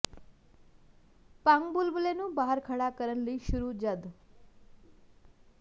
ਭੰਗ ਬੁਲਬਲੇ ਨੂੰ ਬਾਹਰ ਖੜ੍ਹਾ ਕਰਨ ਲਈ ਸ਼ੁਰੂ ਜਦ